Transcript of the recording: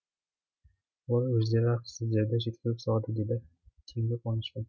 оны өздері ақ сіздерді жеткізіп салады дейді теңгі қуанышпен